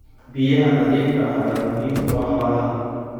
Biyaha nadiifka ah ayaa muhiim u ah xoolaha.